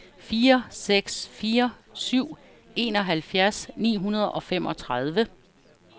fire seks fire syv enoghalvfjerds ni hundrede og femogtredive